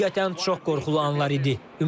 Həqiqətən, çox qorxulu anlar idi.